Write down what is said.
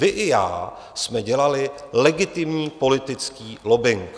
Vy i já jsme dělali legitimní politický lobbing.